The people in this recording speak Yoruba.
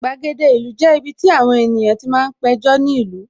Gbàgede ìlú jẹ́ ibiti àwọn ènìyàn ti máa ń péjọ ní ìlú